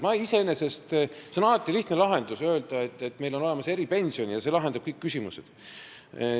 Alati on lihtne lahendus öelda, et meil on olemas eripension ja see lahendab kõik küsimused.